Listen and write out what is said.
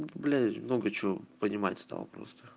ну блять много чего понимается стал просто